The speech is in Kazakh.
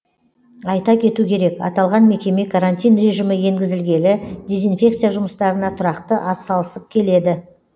айта кету керек аталған мекеме карантин режимі енгізілгелі дезинфекция жұмыстарына тұрақты атсалысып келеді